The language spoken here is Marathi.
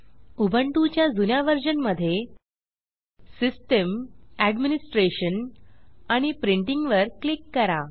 उबुंटु च्या जुन्या वर्जन मध्ये सिस्टम एडमिनिस्ट्रेशन आणि प्रिंटिंग वर क्लिक करा